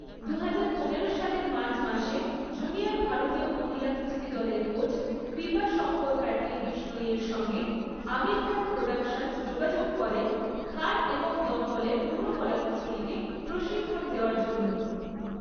দুহাজার পনেরো সালের মার্চ মাসে, জুনিয়র ভারতীয় মহিলা কুস্তি দলের কোচ কৃপা শঙ্কর প্যাটেল বিষ্ণোইয়ের সঙ্গে আমির খান প্রোডাকশনস যোগাযোগ করে খান এবং দঙ্গলের পুরো কলাকুশলীকে প্রশিক্ষণ দেওয়ার জন্য।